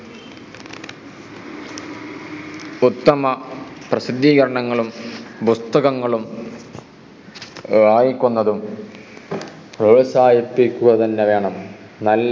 ഉത്തമ പ്രസിദ്ധീകരണങ്ങളും പുസ്തകങ്ങളും വായിക്കുന്നതും പ്രോത്സാഹിപ്പിക്കുക തന്നെ വേണം ന